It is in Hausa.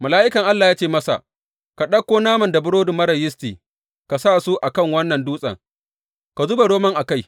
Mala’ikan Allah ya ce masa, Ka ɗauko naman da burodi marar yisti ka sa su a kan wannan dutse, ka zuba romon a kai.